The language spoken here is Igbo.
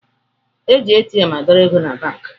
E ji ATM adọrọ ego na banki